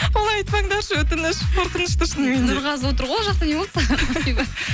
олай айтпаңдаршы өтініш қорқынышты шынымен де нұрғазы отыр ғой ол жақта не болды саған ақбибі